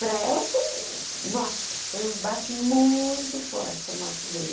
Para ela foi, nossa, foi um baque muito forte a morte dele.